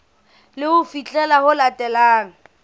ke ho fihlela ho latelang